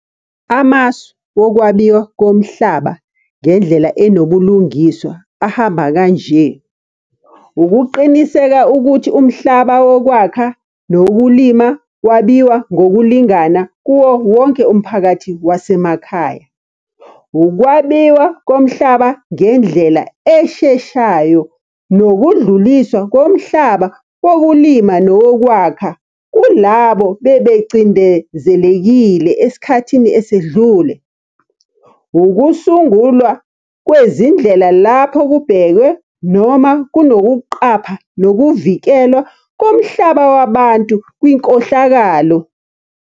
Amasu wokwabiwa komhlaba ngendlela enobulungiswa ahamba kanje, ukuqiniseka ukuthi umhlaba wokwakha nokulima wabiwa ngokulingana kuwo wonke umphakathi wasemakhaya. Ukwabiwa komhlaba ngendlela esheshayo, nokudluliswa komhlaba wokulima nowokwakha kulabo bebecindezelekile esikhathi esedlule. Ukusungulwa kwezindlela lapho kubhekwe noma kunokuqapha nokuvikelwa komhlaba wabantu kwinkohlakalo.